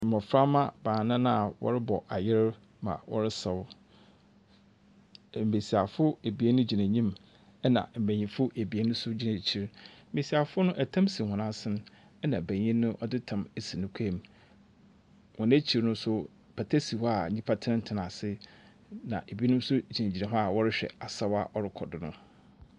Mmoframa baanan a wɔrebɔ ayer ma wɔresaw. Mmbesisfo ebien gyina enyim , ɛna mmbenyifo ebien nso gyina ekyir. Mmbesiafo no ɛtam si wɔn asen na ɔbanyin no ɔdze tam asi ne kɔnmu. Wɔn ekyir no pata si hɔ a nyipa tsena tsena ase na ebinom nso gyina gyina hɔ a wɔrehwɛ asaw a ɛrekɔdo no.